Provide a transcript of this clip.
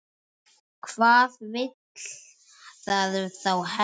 Hvað vill það þá helst?